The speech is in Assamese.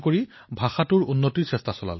এই অভিযানত ছচিয়েল মিডিয়াৰো ব্যৱহাৰ কৰা হল